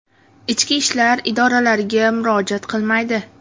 ichki ishlar idoralariga murojaat qilmaydi.